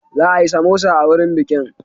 Za a yi samosa a wurin bikin.